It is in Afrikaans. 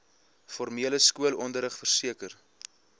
formele skoolonderrig verseker